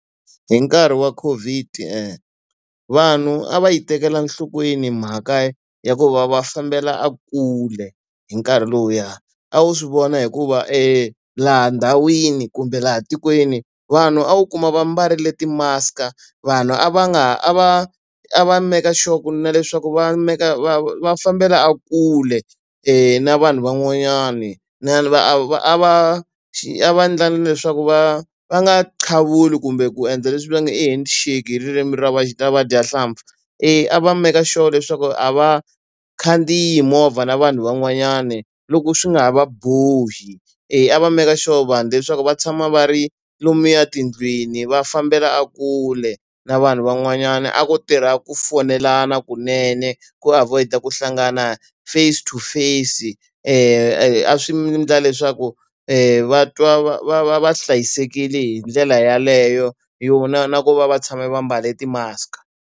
Hi nkarhi wa Covid vanhu a va yi tekela enhlokweni mhaka ya ku va va fambela kule hi nkarhi lowuya. A wu swi vona hikuva laha ndhawini kumbe laha tikweni vanhu a wu kuma va mbarile ti-mask-a, vanhu a va nga ha a va a va make sure ku na leswaku va va va fambela kule na vanhu van'wanyani. va a va a va a va endla na leswaku va va nga qavuli kumbe ku endla leswi va nge hi handshake hi ririmi ra ra vadyahlampfi. A va make sure leswaku a va vakhandziyi movha na vanhu van'wanyani loko swi nga ha va bohi. A va make sure vanhu leswaku va tshama va ri lomuya tindlwini va fambela a kule na vanhu van'wanyana. A ku tirha ku foyinelana kunene ku avoid-a ku hlangana face to face a swi endla leswaku va twa va va va va hlayisekile hi ndlela yaleyo na ku va va tshame va mbale ti-mask-a.